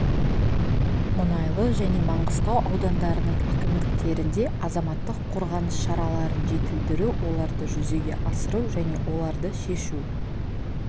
мұнайлы және маңғыстау аудандарының әкімдіктерінде азаматтық қорғаныс шараларын жетілдіру оларды жүзеге асыру және оларды шешу